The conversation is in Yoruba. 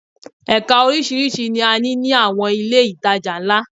Ẹka oríṣiríṣi ni a ní ní àwọn ilé ìtajà ńlá